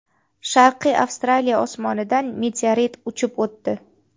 Sharqiy Avstraliya osmonidan meteorit uchib o‘tdi.